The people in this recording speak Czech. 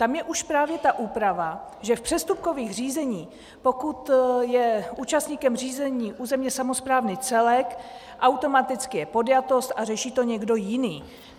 Tam je už právě ta úprava, že v přestupkových řízeních, pokud je účastníkem řízení územně samosprávný celek, automaticky je podjatost a řeší to někdo jiný.